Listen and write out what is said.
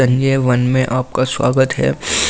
संजय वन में आपका स्वागत है।